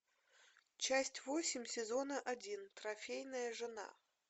часть восемь сезона один трофейная жена